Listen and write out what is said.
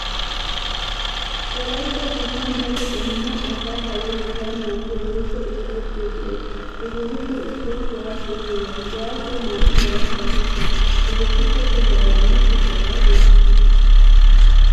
Wolaytta biittan daro qommo asaa payyatettaa naagiyaa woykko isiporttee de'ees hegeetuppe issoy kuwaasiya giyoogaa. Kuwaasee naa"u meran shaakettees hegeetikka tohuwaagaanne kushiyaagaa geetettidi.